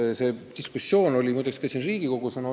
Muide, see diskussioon on ka Riigikogus olnud.